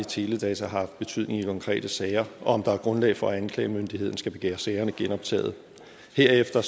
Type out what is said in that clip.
teledata har haft betydning i konkrete sager og om der er grundlag for at anklagemyndigheden skal begære sagerne genoptaget herefter